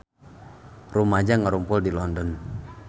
Rumaja ngarumpul di London